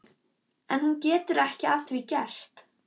En hún getur ekki að því gert.